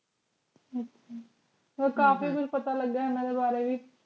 ਅਮ ਕਾਫੀ ਕੁਛ ਪਤਾ ਲਗਿਆ ਏਨਾ ਬਾਰੇ ਵੀ